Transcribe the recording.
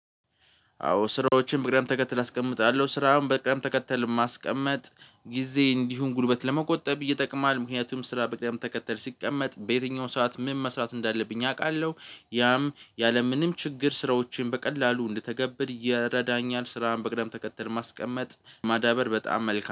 አዎ ስራዎችን በቅደም ተከተል አስቀምጣለሁ ስራውን በቅደም ተከተል ማስቀመጥ ጊዜ እንዲሁም ጉልበት ለመቆጠብ ይጠቅማል ምክንያቱም ስራ በቅደም ተከተል ሲቀመጥ በየትኛው ሰዓት ምን መስራት እንዳለብኝ አውቃለሁ ያም ያለምንም ችግር ስራዎችን በቀላሉ እንድተገብድ ይረዳኛል ስራም በቅደም ተከተል ማስቀመጥ ማዳበር በጣም መልካም